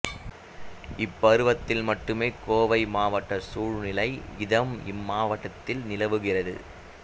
இப்பருவத்தில் மட்டுமே கோவை மாவட்ட சூழ்நிலை இதம் இம்மாவட்டத்தில் நிலவுகிறது